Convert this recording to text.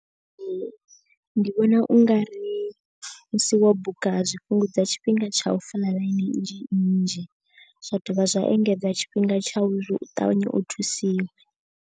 Ee ndi vhona ungari musi wo buka zwi fhungudza tshifhinga tsha u fola ḽaini nnzhi nnzhi. Zwa dovha zwa engedza tshifhinga tsha uri u ṱavhanye u thusiwa.